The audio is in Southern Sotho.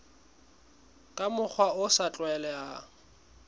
ka mokgwa o sa tlwaelehang